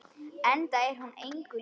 Enda er hún engu lík.